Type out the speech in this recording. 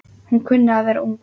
Hún kunni að vera ung.